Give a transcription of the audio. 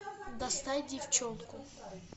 достать девчонку